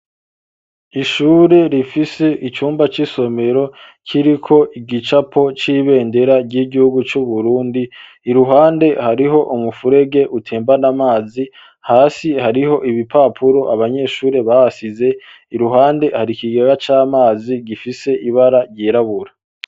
Ishure rifise icumba c'isomero kiriko igicapo c'ibendera ry'igihugu c'uburundi iruhande hariho umufurege utembana amazi hasi hariho ibipapuro abanyeshure basize iruhande hari ikigaga c'amazi gifise ibara ryirabura.